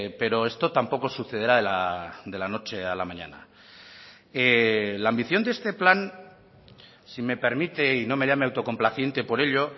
pero esto tampoco sucederá de la noche a la mañana la ambición de este plan si me permite y no me llame autocomplaciente por ello